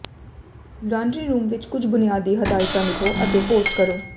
laundry room ਵਿੱਚ ਕੁੱਝ ਬੁਨਿਆਦੀ ਹਦਾਇਤਾਂ ਲਿਖੋ ਅਤੇ ਪੋਸਟ ਕਰੋ